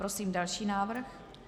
Prosím další návrh.